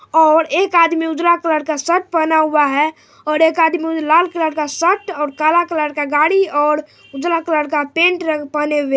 और एक आदमी उजरा कलर का शर्ट पहना हुआ है और एक आदमी लाल कलर का शर्ट और काला कलर का गाड़ी और उजला कलर का पैंट रंग पहने हुए ।